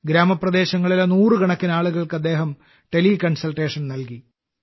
ഗ്രാമപ്രദേശങ്ങളിലെ നൂറുകണക്കിന് ആളുകൾക്ക് അദ്ദേഹം ടെലി കൺസൾട്ടേഷൻ നൽകി